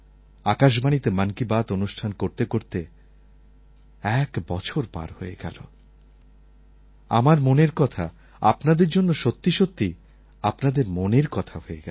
আকাশবাণীতে মন কি বাত অনুষ্ঠান করতে করতে এক বছর পার হয়ে গেলো আমার মনের কথা আপনাদের জন্য সত্যি সত্যিই আপনাদের মনের কথা হয়ে গেছে